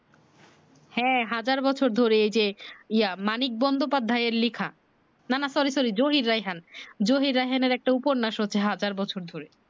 হ্যা হাজার বছর ধরে এই যে ইয়া মানিক বন্দ্যোপাধ্যায় এর লেখা না না sorry sorry জহির রায়হান জহির রায়হানের একটা উপন্যাস হচ্ছে হাজার বছর ধরে